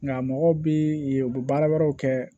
Nka mɔgɔw bi ye u bi baara wɛrɛw kɛ